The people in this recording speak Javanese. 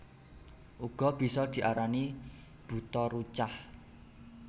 Uga bisa diarani Buta Rucah